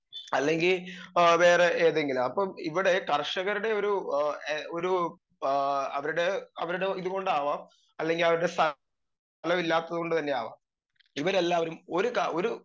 speaker 2 അല്ലെങ്കി ഏ വേറെ ഏതെങ്കിലും അപ്പം ഇവടെ കർഷകരുടെ ഒരു ഏ ഒരു ഏ അവരുടെ അവരുടെ ഇത്കൊണ്ടാവാം അല്ലെങ്കി അവരുടെ ഇല്ലാത്തത് കൊണ്ട് തന്നെയാവാം ഇവരെല്ലാവരും ഒരു ക ഒരു